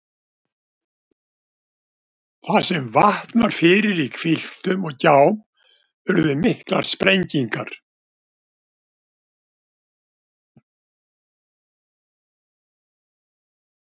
Þar sem vatn var fyrir í hvilftum og gjám urðu miklar sprengingar.